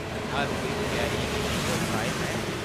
हर कोई त्यारियें गी लेइयै उत्साहत ऐ।